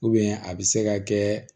a bɛ se ka kɛ